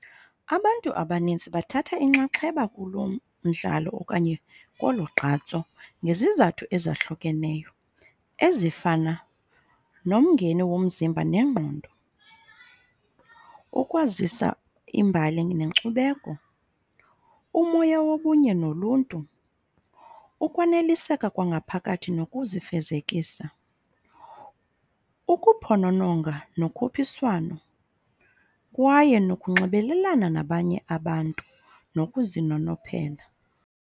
Abantu abanintsi bathatha inxaxheba kulo mdlalo okanye kolu gqatso ngezizathu ezahlukeneyo, ezifana nomngeni womzimba nengqondo, ukwazisa iimbali nenkcubeko, umoya wobunye noluntu, ukwaneliseka kwangaphakathi nokuzifezekisa, ukuphonononga nokhuphiswano, kwaye nokunxibelelana nabanye abantu nokuzinonophela.